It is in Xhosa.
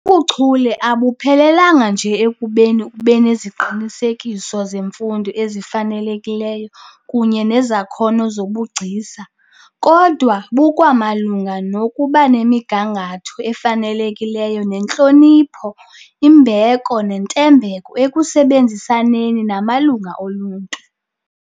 Ubuchule abuphelelanga nje ekubeni ubeneziqinisekiso zemfundo ezifanelekileyo kunye nezakhono zobugcisa, kodwa bukwamalunga nokubanemigangatho efanelekileyo yentlonipho, imbeko nentembeko ekusebenzisaneni namalungu oluntu.